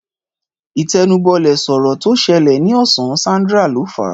Ìtẹnubọlẹ̀ sọ̀rọ̀ tó ṣẹlẹ̀ ní ọ̀sán, Sandra ló fàá